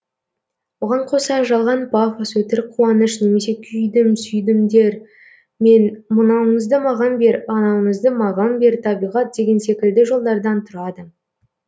оған қоса жалған пафос өтірік қуаныш немесе күйдім сүйдімдер мен мынауыңызды маған бер анауыңызды маған бер табиғат деген секілді жолдардан тұрады